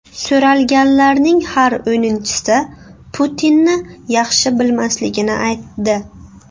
So‘ralganlarning har o‘ninchisi Putinni yaxshi bilmasligini aytdi.